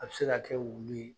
A bɛ se ka kɛ wulu ye.